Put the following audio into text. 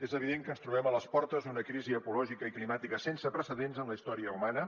és evident que ens trobem a les portes d’una crisi ecològica i climàtica sense precedents en la història humana